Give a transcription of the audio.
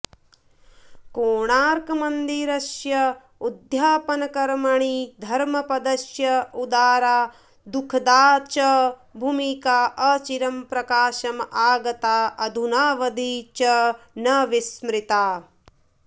कोणार्कमन्दिरस्य उद्यापनकर्मणि धर्मपदस्य उदारा दुःखदा च भूमिका अचिरं प्रकाशम् आगता अधुनावधि च न विस्मृता